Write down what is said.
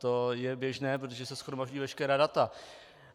To je běžné, protože se shromažďují veškerá data.